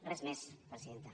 res més presidenta